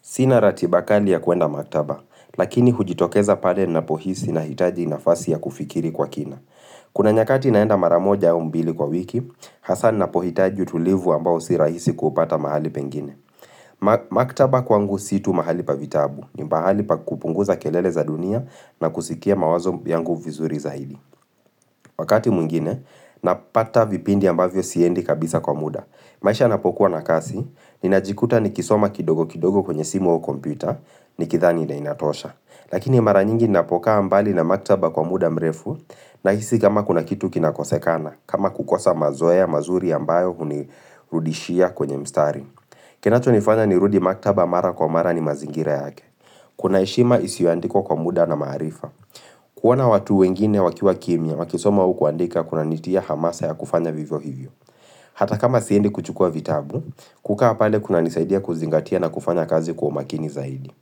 Sina ratibakali ya kuenda maktaba, lakini hujitokeza pale ninapohisi nahitaji nafasi ya kufikiri kwa kina. Kuna nyakati naenda mara moja au mbili kwa wiki, hasa ninapohitaji utulivu ambao sirahisi kupata mahali pengine. Mak Maktaba kwangu si tu mahali pa vitabu, ni mahali pa kupunguza kelele za dunia na kusikia mawazo yangu vizuri zaidi. Wakati mwingine, napata vipindi ambavyo siendi kabisa kwa muda. Maisha yanapokuwa na kasi, ninajikuta nikisoma kidogo kidogo kwenye simu wao kompyuta, nikidhani na inatosha. Lakini mara nyingi ninapokaa mbali na maktaba kwa muda mrefu, nahisi kama kuna kitu kinakosekana, kama kukosa mazoea mazuri ambayo hunirudishia kwenye mstari. Kinacho nifanya nirudi maktaba mara kwa mara ni mazingira yake. Kuna heshima isiyoandikwa kwa muda na maarifa. Kuona watu wengine wakiwa kimya, wakisoma au kuandika kunanitia hamasa ya kufanya vivyo hivyo. Hata kama siendi kuchukua vitabu, kukaa pale kunanisaidia kuzingatia na kufanya kazi kwa umakini zaidi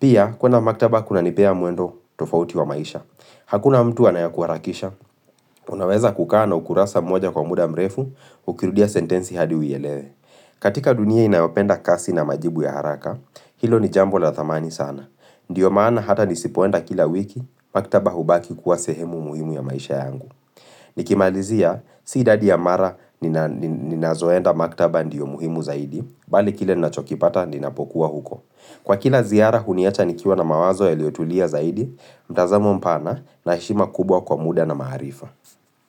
Pia, kuenda maktaba kunanipea mwendo tofauti wa maisha Hakuna mtu anayekuharakisha Unaweza kukaa na ukurasa mwoja kwa muda mrefu, ukirudia sentensi hadi uielewe katika dunia inayopenda kasi na majibu ya haraka, hilo ni jambo la thamani sana Ndiyo maana hata nisipoenda kila wiki, maktaba hubaki kuwa sehemu muhimu ya maisha yangu Nikimalizia si idadi ya mara nina nina ninazoenda maktaba ndiyo muhimu zaidi Bali kile nachokipata ninapokuwa huko Kwa kila ziara huniacha nikiwa na mawazo yaliyotulia zaidi mtazamo mpana na heshima kubwa kwa muda na maarifa.